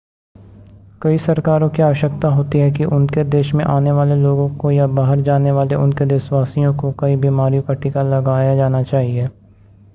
कई सरकारों की आवश्यकता होती है कि उनके देश में आने वाले लोगों को या बाहर जाने वाले उनके देशवासियों को कई बीमारियों का टीका लगाया जाना चाहिए